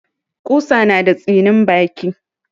Ƙusa na da tsinin baki.